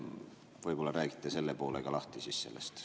Võib-olla räägite selle ka lahti?